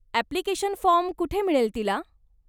Application form कुठे मिळेल तिला?